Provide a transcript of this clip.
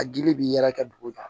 A dili bi yala kɛ dugu kan